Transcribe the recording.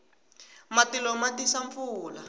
matilo ma tisa pfula